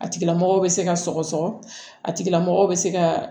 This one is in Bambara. A tigila mɔgɔ bɛ se ka sɔgɔsɔgɔ a tigilamɔgɔ bɛ se ka